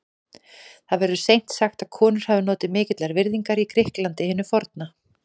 Það verður seint sagt að konur hafi notið mikillar virðingar í Grikklandi hinu forna.